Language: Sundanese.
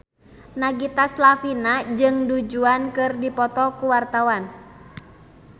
Nagita Slavina jeung Du Juan keur dipoto ku wartawan